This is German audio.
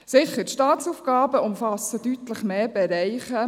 Sicher, die Staatsaufgaben umfassen deutlich mehr Bereiche.